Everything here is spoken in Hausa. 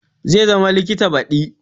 Zai zama likita badi